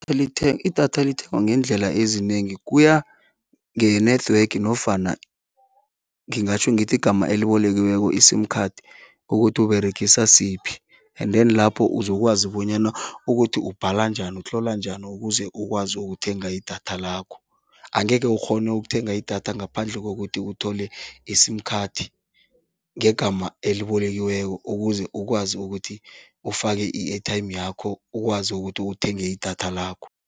idatha lithengwa ngeendlela ezinengi, kuya nge-network nofana ngingatjho ngithi igama elibolekiweko i-sim card kokuthi Uberegisa siphi and then lapho uzokwazi bonyana ukuthi ubhala njani, utlola njani ukuze ukwazi ukuthenga idatha lakho. Angeke ukghone ukuthenga idatha ngaphandle kokuthi uthole i-sim card ngegama elibolekiweko, ukuze ukwazi ukuthi ufake i-airtime yakho ukwazi ukuthi uthenge idatha lakho.